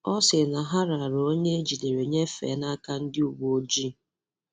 Ọ sị na ha rara onye e jidere nyefe n'aka ndi uweojii.